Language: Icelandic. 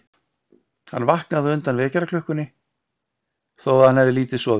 Hann vaknaði á undan vekjaraklukkunni þó að hann hefði lítið sofið um nóttina.